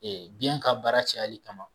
biyɛn ka baara cayali kama